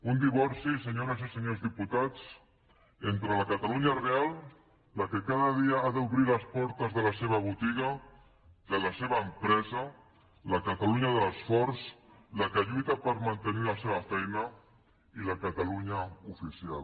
un divorci senyores i senyors diputats entre la catalunya real la que cada dia ha d’obrir les portes de la seva botiga de la seva empresa la catalunya de l’esforç la que lluita per mantenir la seva feina i la catalunya oficial